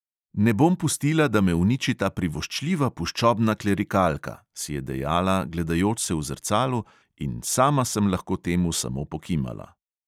"Ne bom pustila, da me uniči ta privoščljiva puščobna klerikalka!" si je dejala, gledajoč se v zrcalu, in sama sem lahko temu samo pokimala.